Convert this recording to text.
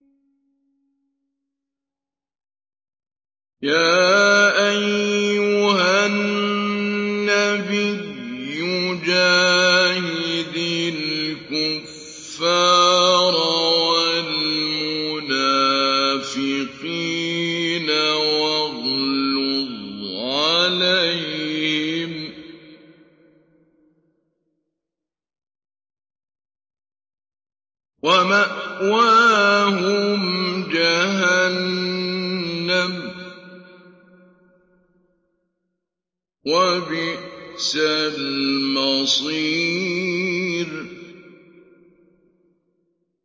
يَا أَيُّهَا النَّبِيُّ جَاهِدِ الْكُفَّارَ وَالْمُنَافِقِينَ وَاغْلُظْ عَلَيْهِمْ ۚ وَمَأْوَاهُمْ جَهَنَّمُ ۖ وَبِئْسَ الْمَصِيرُ